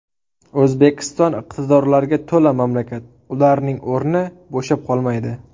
O‘zbekiston iqtidorlarga to‘la mamlakat, ularning o‘rni bo‘shab qolmaydi.